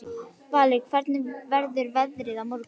Valur, hvernig verður veðrið á morgun?